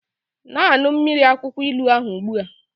Na-aṅụ mmiri akwụkwọ ilu ahụ ugbu a!